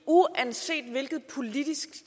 uanset hvilket politisk